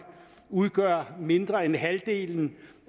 udgør mindre end halvdelen